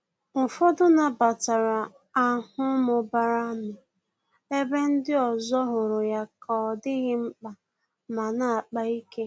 Ụfọdụ nabatara ahụ mụbara nụ, ebe ndị ọzọ hụrụ ya ka ọ dịghị mkpa ma na-akpa ike